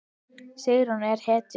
Sigrún er hetja!